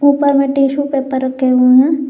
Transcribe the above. ऊपर में tissue paper रखे हुए हैं।